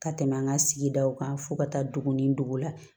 Ka tɛmɛ an ka sigidaw kan fo ka taa dugu ni dugu la